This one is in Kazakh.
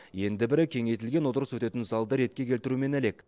енді бірі кеңейтілген отырыс өтетін залды ретке келтірумен әлек